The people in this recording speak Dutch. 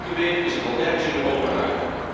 Elke week is het wel ergens in Europa raakt.